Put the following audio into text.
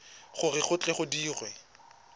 gore go tle go dirwe